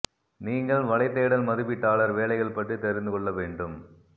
நீங்கள் வலை தேடல் மதிப்பீட்டாளர் வேலைகள் பற்றி தெரிந்து கொள்ள வேண்டும்